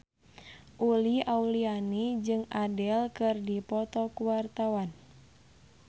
Uli Auliani jeung Adele keur dipoto ku wartawan